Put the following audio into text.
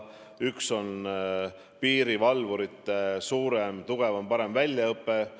Üks suund on piirivalvurite tugevam, parem väljaõpe Sisekaitseakadeemias.